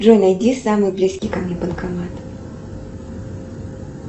джой найди самый близкий ко мне банкомат